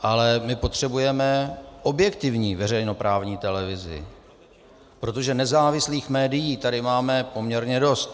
Ale my potřebujeme objektivní veřejnoprávní televizi, protože nezávislých médií tady máme poměrně dost.